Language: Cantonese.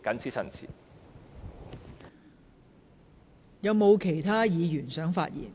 是否有其他議員想發言？